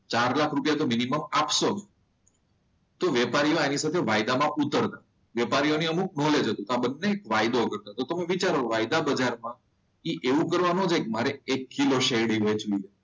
ચાલ લાખ રૂપિયા નો મિનિમમ આપશો. વેપારીઓ એની સાથે વાયદામાં ઉતરતા હોય. વેપારીઓની અમુક નોલેજ હતો. તો બધાને એક વાયદો કરવો પડતો હોય છે. તમે વિચારો વાયદા બજારમાં એ એવું કરવા ના જાય કે કિલો શેરડી વેચવી છે.